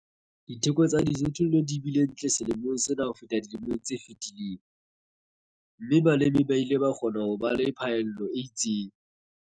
Ditheko tsa dijothollo di bile ntle selemong sena ho feta dilemong tse fetileng, mme balemi ba ile ba kgona ho ba le phaello e itseng.